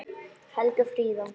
Helgi og Fríða.